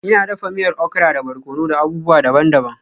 Ina dafa miyar okara da barkono da abubuwa daban-daban.